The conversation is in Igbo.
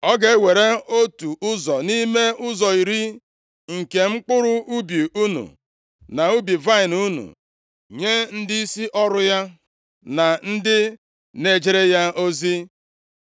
Ọ ga-ewere otu ụzọ nʼime ụzọ iri nke mkpụrụ ubi unu na ubi vaịnị unu nye ndịisi ọrụ ya na ndị na-ejere ya ozi.